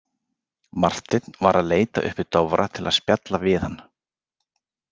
Marteinn var að leita uppi Dofra til að spjalla við hann.